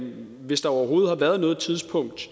hvis der overhovedet har været noget tidspunkt